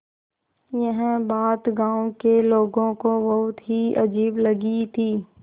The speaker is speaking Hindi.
यह बात गाँव के लोगों को बहुत ही अजीब लगी थी